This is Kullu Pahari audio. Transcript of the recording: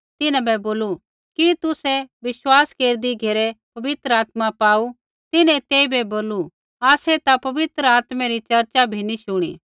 तिन्हां बै बोलू कि तुसै विश्वास केरदी घेरै पवित्र आत्मा पाऊ तिन्हैं तेइबै बोलू आसै ता पवित्र आत्मै री चर्चा बी नी शुणी